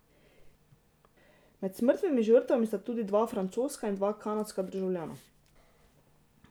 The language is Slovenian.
Med smrtnimi žrtvami sta tudi dva francoska in dva kanadska državljana.